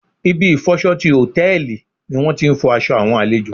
Ibi ìfọ'ṣọ ti Hòtẹ́lìì ni wón ti ń fọ aṣọ àwọn àlejò.